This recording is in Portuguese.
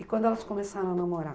E quando elas começaram a namorar?